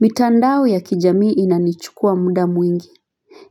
Mitandao ya kijamii inanichukua muda mwingi.